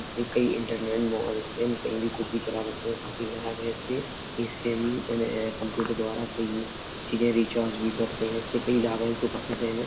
इससे कई internet mall इन इनमे हम कहीं भी कुछ भी चला सकते हैं। काफी लाभ है इससे। इससे अम हम कंप्यूटर द्वारा कई चीजें रिचार्ज भी करते हैं। इससे कई लाभ है इस दुकान से हमे।